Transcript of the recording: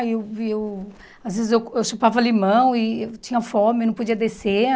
Aí eu eu às vezes eu eu chupava limão e eu tinha fome, não podia descer.